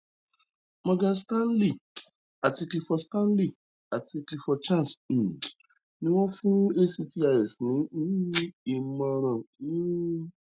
morgan stanley àti clifford stanley àti clifford chance um ni wọn fún actis ní um ìmọràn um